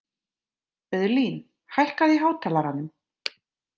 Auðlín, hækkaðu í hátalaranum.